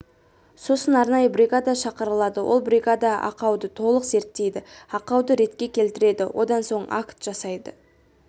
сосын арнайы бригада шақырылады ол бригада ақауды толық зерттейді ақауды ретке келтіреді одан соң акт жасайды